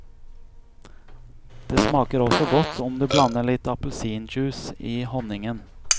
Det smaker også godt om du blander litt appelsinjuice i honningen.